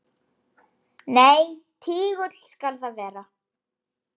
Nei, tígull skal það vera.